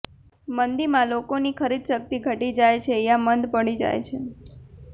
મંદીમાં લોકોની ખરીદશક્તિ ઘટી જાય છે યા મંદ પડી જાય છે